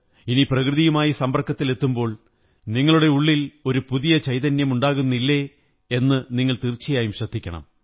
ഇനി പ്രകൃതിയുമായി സമ്പര്ക്കലത്തിലെത്തുമ്പോൾ നിങ്ങളുടെ ഉള്ളിൽ ഒരു പുതിയ ചൈതന്യം ഉണ്ടാകുന്നില്ലേ എന്ന് നിങ്ങൾ തീര്ച്ചലയായും ശ്രദ്ധിക്കണം